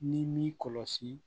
Ni m'i kɔlɔsi